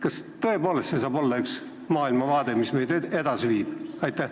Kas tõepoolest see saab olla maailmavaade, mis meid edasi viib?